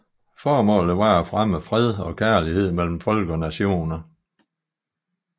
Formålet var at fremme fred og kærlighed mellem folk og nationer